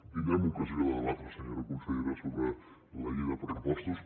tindrem ocasió de debatre senyora consellera sobre la llei de pressupostos